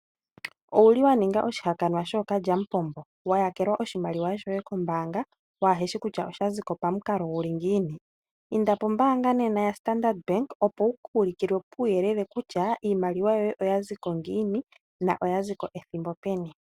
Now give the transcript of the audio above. Owuli waningwa oshihakanwa shokalyambombo wayakelwa oshimliwa shoye kombanga waheshi kutya oshaziko pamukalo guli ngiini inda pombanga nena yaStandard bank opo wuku ulukilwe uuyelele kutya iimaliwa yoye oyaziko ngiini noyaziko ethimbo peni.